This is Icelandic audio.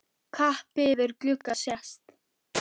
Kappi yfir glugga sést.